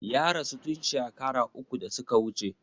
Ya rasu tun shakara uku da su ka wuce.